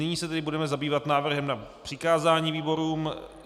Nyní se tedy budeme zabývat návrhem na přikázání výborům.